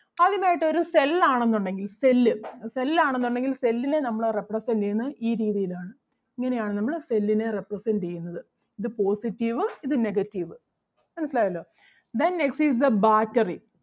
ആദ്യമായിട്ട് ഒരു cell ആണെന്നുണ്ടെങ്കിൽ cell അഹ് cell ആണെന്നുണ്ടെങ്കിൽ cell നെ നമ്മള് represent ചെയ്യുന്നത് ഈ രീതിയിൽ ആണ്. ഇങ്ങനെ ആണ് നമ്മള് cell നെ represent ചെയ്യുന്നത്. ഇത് positive ഇത് negative. മനസിലായല്ലോ then next is the battery